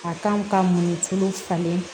A kan ka mun nifini falen